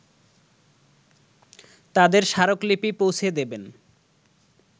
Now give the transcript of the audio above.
তাদের স্মারকলিপি পৌঁছে দেবেন